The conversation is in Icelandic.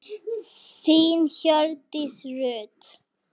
Þín Hjördís Rut.